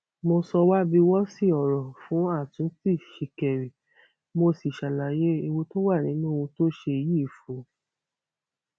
mo sọ wábiwọsí ọrọ fún àtúntì ṣìkẹrì mo sì ṣàlàyé ewu tó wà nínú ohun tó ṣe yìí fún un